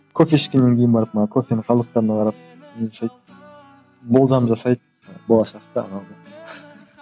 кофе ішкеннен кейін барып мана кофенің қалдықтарына қарап не жасайды болжам жасайды болашақтағы